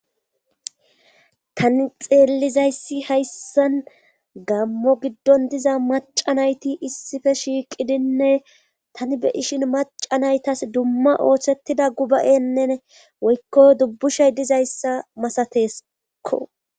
tani xeellizayssi hayssan gammo giddon diza macanayti issife shiiqidinne tani be ishin macanaytas dumma ooththettida guba7enne woykko dubbushay dizayssa masateskko